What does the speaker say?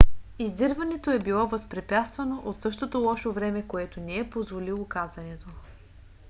издирването е било възпрепятствано от същото лошо време което не е позволило кацането